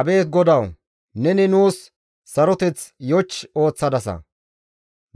Abeet GODAWU! Neni nuus saroteth yoch ooththadasa;